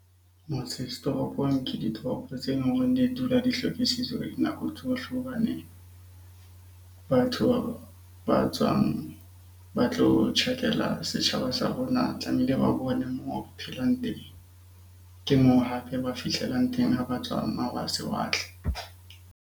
Motse setoropong ke ditoropo tsena di dula di hlwekisitswe ka dinako tsohle hobaneng batho ba tswang ba tlo tjhakela setjhaba sa rona tlamehile ba bone moo phelang teng. Ke moo hape ba fihlelang teng ha ba tswa .